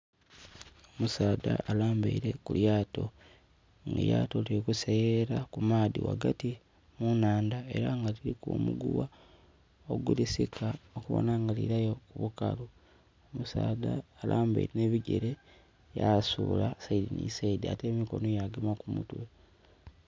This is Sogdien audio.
Omusaadha alambaile ku lyaato. Elyaato lili kuseeyerera ku maadhi wagati mu nandha era nga liliku omuguwa ogulisika okubona nga liilayo kubukalu. Omusaadha alambaile n'ebigere yasuula side ni side, ate emikono yagema ku mutwe.